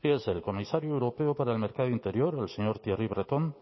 fíjese el comisario europeo para el mercado interior el señor thierry breton